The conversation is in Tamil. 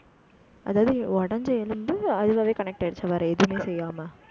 அதாவது, உடைஞ்ச எலும்பு அதுவாவே connect ஆயிடுச்சு, வேற எதுவுமே செய்யாமல்